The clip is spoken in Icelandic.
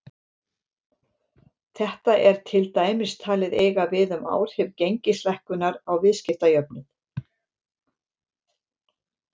Þetta er til dæmis talið eiga við um áhrif gengislækkunar á viðskiptajöfnuð.